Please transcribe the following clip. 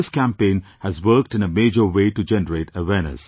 This campaign has worked in a major way to generate awareness